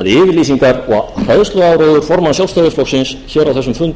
að yfirlýsingar og hræðsluáróður formanns sjálfstæðisflokksins hér á þessum fundi er einfaldlega í